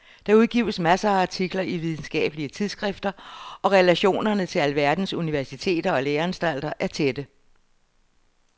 Der udgives masser af artikler i videnskabelige tidsskrifter og relationerne til alverdens universiteter og læreanstalter er tætte.